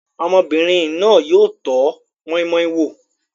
Ọmọbìnrin náà yóò tọ́ moi moi wò.